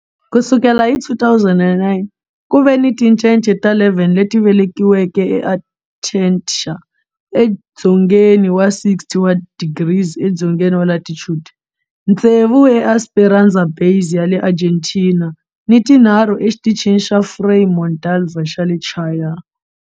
Ku sukela hi 2009, ku ve ni tincece ta 11 leti velekiweke eAntarctica edzongeni wa, 60 wa tidigri edzongeni wa latitude, ntsevu eEsperanza Base ya le Argentina ni tinharhu eXitichini xa Frei Montalva xa le Chile.